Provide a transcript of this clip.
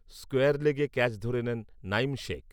square লেগে catch ধরে নেন নাঈম শেখ